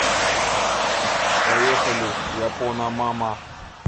поехали япона мама